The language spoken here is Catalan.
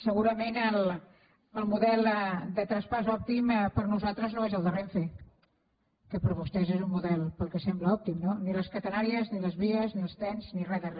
segurament el model de traspàs òptim per nosaltres no és el de renfe que per vostès és un model pel que sembla òptim no ni les catenàries ni les vies ni els trens ni re de re